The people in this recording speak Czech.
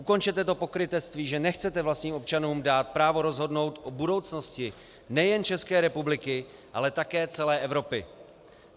Ukončete to pokrytectví, že nechcete vlastním občanům dát právo rozhodnout o budoucnosti nejen České republiky, ale také celé Evropy.